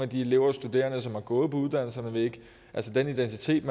de elever og studerende som har gået på uddannelserne altså den identitet